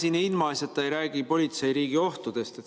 Ega me ilmaasjata ei räägi politseiriigi ohtudest.